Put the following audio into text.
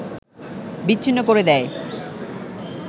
বিচ্ছিন্ন করে দেয়